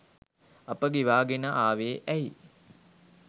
අප ගෙවාගෙන ආවෙ ඇයි?